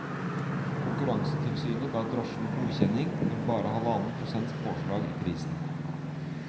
Konkurransetilsynet ga drosjene godkjenning for bare halvannen prosents påslag i prisen.